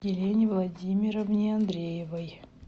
елене владимировне андреевой